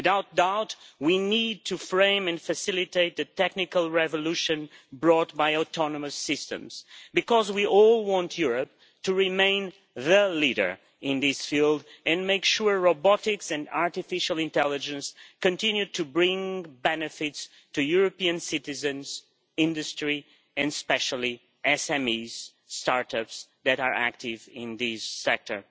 Without doubt, we need to frame and facilitate the technical revolution brought by autonomous systems, because we all want Europe to remain the leader in this field and make sure robotics and artificial intelligence continue to bring benefits to European citizens, industry and especially SMEs and start ups that are active in this sector.